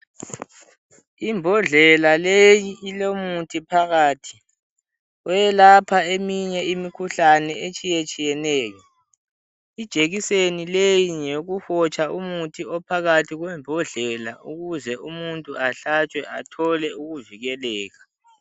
Imbodlela leyi ilomuthi phakathi oyelapha eminye imikhuhlane etshiyetshiyeneyo. Ijekiseni leyi ngeyokuhotsha umuthi ophakathi kwembodlela ukuze umuntu ahlatshwe athole ukuvikeleka.